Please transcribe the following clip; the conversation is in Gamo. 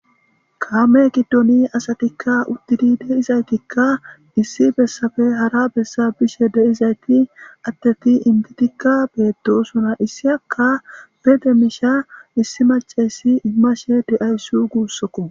Kaame giddoni asatikka uddidi deizaytikka issi bessafe hara bessa bishe deizayti atteti inbitikka beettosuna issi akka bede miisha issi macessi immashe de7ayssu guussokko.